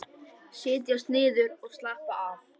Setjast niður og slappa af.